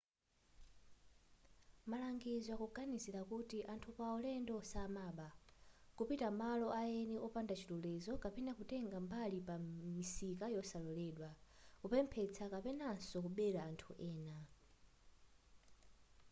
malangizo akuganizila kuti anthu apaulendo samaba kupita malo aeni opanda chilolezo kapena kutenga mbali pa misika yosaloledwa kupemphetsa kapenanso kubela anthu ena